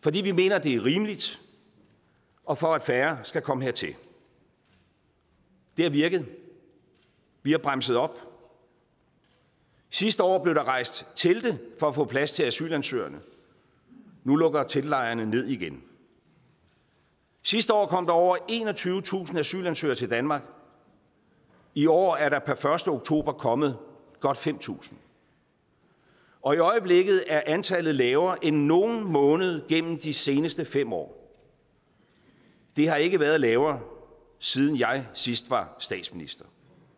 fordi vi mener at det er rimeligt og for at færre skal komme hertil det har virket vi har bremset op sidste år blev der rejst telte for at få plads til asylansøgerne nu lukker teltlejrene ned igen sidste år kom der over enogtyvetusind asylansøgere til danmark i år er der per første oktober kommet godt fem tusind og i øjeblikket er antallet lavere end i nogen måned gennem de seneste fem år det har ikke været lavere siden jeg sidst var statsminister